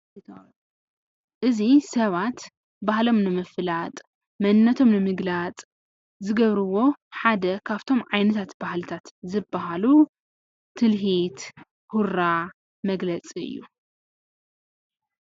እዚ ሰባት ባህሎም ንምፍላጥ መንነቶም ንምግላፅ ዝገብርዎ ሓደ ካብቶም ዓይነታት ባህልታት ዝበሃሉ ትልሂት፣ ሁራ መግለፂ እዩ።